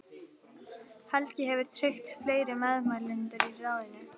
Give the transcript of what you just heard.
Helgi hefur tryggt fleiri meðmælendur í ráðinu.